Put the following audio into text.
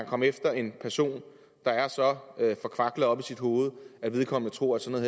komme efter en person der er så forkvaklet oppe i sit hoved at vedkommende tror at sådan